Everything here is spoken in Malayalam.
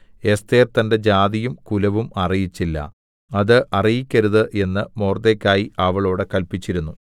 എസ്ഥേർ തന്റെ ജാതിയും കുലവും അറിയിച്ചില്ല അത് അറിയിക്കരുത് എന്ന് മൊർദ്ദേഖായി അവളോട് കല്പിച്ചിരുന്നു